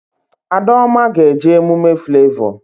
Adaoma ga-eje emume Flavọ